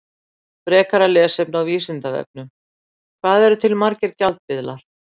Frekara lesefni á Vísindavefnum: Hvað eru til margir gjaldmiðlar?